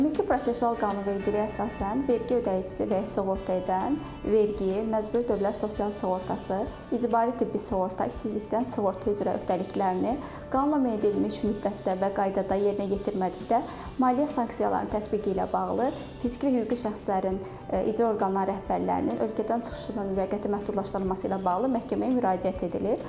Ümumi prosessual qanunvericiliyə əsasən, vergi ödəyicisi və ya sığorta edən vergi, məcburi dövlət sosial sığortası, icbari tibbi sığorta, işsizlikdən sığorta üzrə öhdəliklərini qanunla müəyyən edilmiş müddətdə və qaydada yerinə yetirmədikdə, maliyyə sanksiyalarının tətbiqi ilə bağlı fiziki və hüquqi şəxslərin icra orqanları rəhbərlərinin ölkədən çıxışının müvəqqəti məhdudlaşdırılması ilə bağlı məhkəməyə müraciət edilir.